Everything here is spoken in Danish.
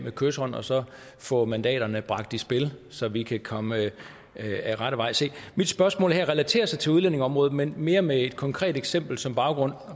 kyshånd og så få mandaterne bragt i spil så vi kan komme ad rette vej mit spørgsmål relaterer sig til udlændingeområdet men mere med et konkret eksempel som baggrund